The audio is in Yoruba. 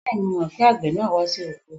Bẹ́ẹ̀ni, mo mọ pé àgbẹ̀ náà wá sí oko